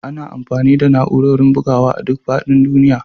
Ana amfani da na'urorin bugawa a duk faɗin duniya